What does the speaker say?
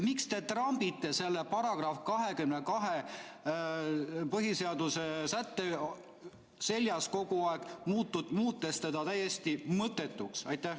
Miks te trambite selle põhiseaduse § 22 seljas kogu aeg, muutes selle täiesti mõttetuks?